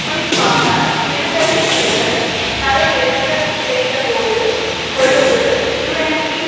குறிப்பாக விடுதலை புலிகள் தலையெடுக்கச் செய்தபோது கொழும்பு யூஎன்பி